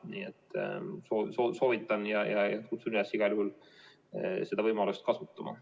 Nii et soovitan ja kutsun üles igal juhul seda võimalust kasutama.